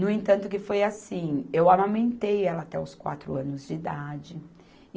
No entanto que foi assim, eu amamentei ela até os quatro anos de idade.